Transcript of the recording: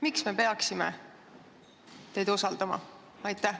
Miks me peaksime teid usaldama?